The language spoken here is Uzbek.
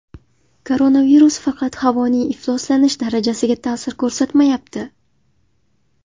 Koronavirus faqat havoning ifloslanish darajasiga ta’sir ko‘rsatmayapti.